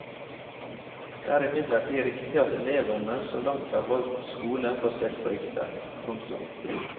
Det er imidlertid riktig at elevene så langt har valgt skole basert på rykter. punktum